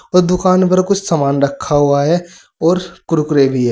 और दुकान पर कुछ सामान रखा हुआ है और कुरकुरे भी है।